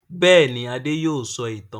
Bẹ́ẹ̀ ni, Adé yóò sọ ìtàn.